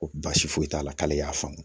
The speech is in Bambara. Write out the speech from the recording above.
Ko baasi foyi t'a la k'ale y'a faamu